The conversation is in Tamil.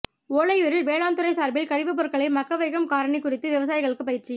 ஒலையூரில் வேளாண்துறை சார்பில் கழிவுப் பொருளை மக்க வைக்கும் காரணி குறித்து விவசாயிகளுக்கு பயிற்சி